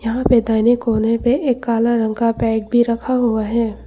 यहां पे दाहिने कोने पे एक काला रंग का बैग भी रखा हुआ है।